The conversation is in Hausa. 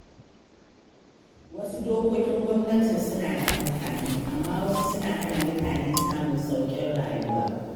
Wasu dokokin gwamnatin suna da amfani, amma wasu suna hana mutane samun sauƙin rayuwa.